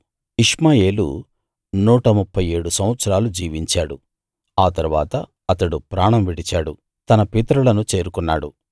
ఇష్మాయేలు నూట ముప్ఫై ఏడు సంవత్సరాలు జీవించాడు ఆ తరువాత అతడు ప్రాణం విడిచాడు తన పితరులను చేరుకున్నాడు